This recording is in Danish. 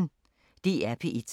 DR P1